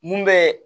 Mun bɛ